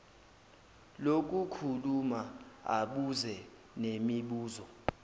lokukhuluma abuze nemibuzo